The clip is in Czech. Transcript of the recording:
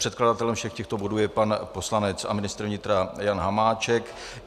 Předkladatelem všech těchto bodů je pan poslanec a ministr vnitra Jan Hamáček.